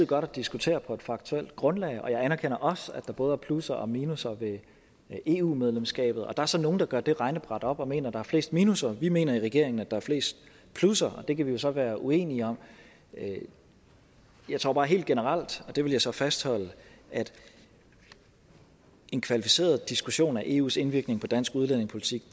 godt at diskutere på et faktuelt grundlag og jeg anerkender også at der både er plusser og minusser ved eu medlemskabet der er så nogle der gør gør regnebrættet op og mener at der er flest minusser vi mener i regeringen at der er flest plusser det kan vi så være uenige om jeg tror bare helt generelt og det vil jeg så fastholde at en kvalificeret diskussion af eus indvirkning på dansk udlændingepolitik